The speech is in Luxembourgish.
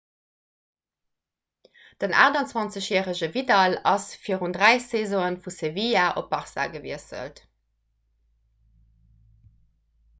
den 28-järege vidal ass virun dräi saisone vu sevilla zu barça gewiesselt